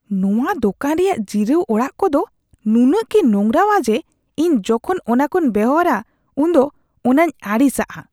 ᱱᱚᱣᱟ ᱫᱚᱠᱟᱱ ᱨᱮᱭᱟᱜ ᱡᱤᱨᱟᱹᱣ ᱚᱲᱟᱜ ᱠᱚᱫᱚ ᱱᱩᱱᱟᱹᱜ ᱜᱮ ᱱᱚᱝᱨᱟᱣᱟ ᱡᱮ ᱤᱧ ᱡᱚᱠᱷᱚᱱ ᱚᱱᱟᱠᱚᱧ ᱵᱮᱣᱦᱟᱨᱟ ᱩᱱ ᱫᱚ ᱚᱱᱟᱧ ᱟᱹᱲᱤᱥᱟᱜᱼᱟ ᱾